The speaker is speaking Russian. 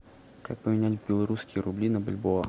как поменять белорусские рубли на бальбоа